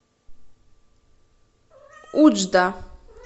уджда